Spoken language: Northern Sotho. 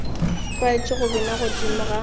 tlwaetše go bina godimo ga